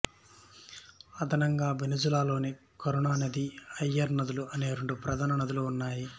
అదనంగా వెనుజులాలో కరోని నది అక్యురే నదులు అనే రెండు ప్రధాన నదులు ఉన్నాయి